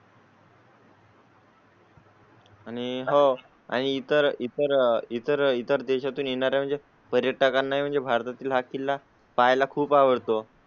आणि हो आणि इतर इतर इतर इतर देशातून येणारे म्हणजे पर्यटकांना म्हणजे भारतातील हा किल्ला पाहायला खूप आवडतो.